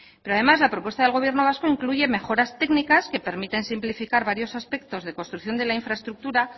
pero además la propuesta del gobierno vasco incluye mejoras técnicas que permiten simplificar varios aspectos de construcción de la infraestructura